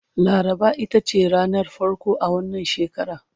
laraba itace ranar farko a wannan shekara